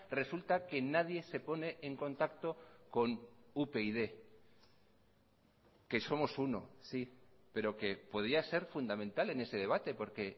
resulta que nadie se pone en contacto con upyd que somos uno sí pero que podía ser fundamental en ese debate porque